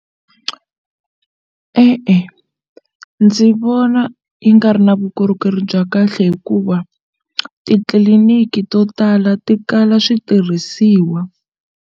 E-e, ndzi vona yi nga ri na vukorhokeri bya kahle hikuva titliliniki to tala ti kala switirhisiwa.